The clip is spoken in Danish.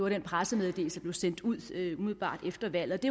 i den pressemeddelelse der blev sendt ud umiddelbart efter valget